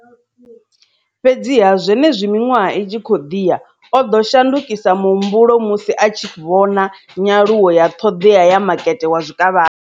Fhedziha, zwenezwi miṅwaha i tshi khou ḓi ya, o ḓo shandukisa muhumbulo musi a tshi vhona nyaluwo ya ṱhoḓea ya makete wa zwikavhavhe.